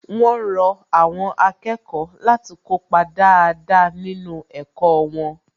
Wón rọ àwọn akẹ́kọ̀ọ́ láti kópa dáadáa nínú ẹ̀kọ́ wọn